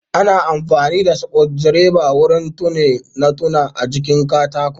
Ana amfani da sukudireba wurin tone notuna a jikin katako